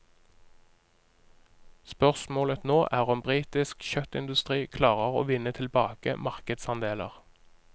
Spørsmålet nå er om britisk kjøttindustri klarer å vinne tilbake markedsandeler.